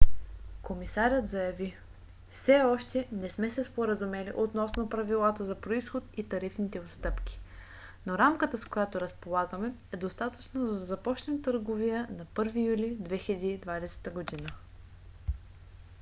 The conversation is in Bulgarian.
комисарят заяви: все още не сме се споразумели относно правилата за произход и тарифните отстъпки но рамката с която разполагаме е достатъчна за да започнем търговия на 1 юли 2020 г.